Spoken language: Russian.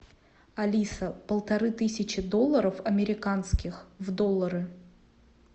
алиса полторы тысячи долларов американских в доллары